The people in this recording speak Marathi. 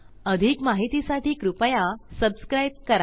अधिक माहितीसाठी कृपया सबस्क्राईब करा